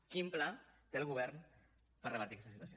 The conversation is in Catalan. quin pla té el govern per revertir aquesta situació